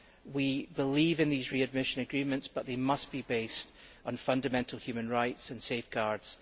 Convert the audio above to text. We believe in these readmission agreements, but they must be based on fundamental human rights and safeguards.